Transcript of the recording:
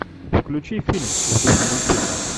включи фильм в духе мультфильма